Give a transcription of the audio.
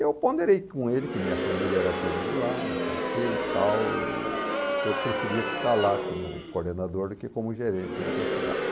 Eu ponderei com ele que minha família era toda de lá, não sei o que e tal, e que eu preferia ficar lá como coordenador do que como gerente em outra cidade.